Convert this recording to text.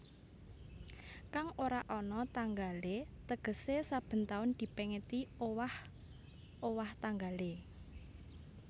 Kang ora ana tanggalé tegesé saben taun dipèngeti owah owah tanggalé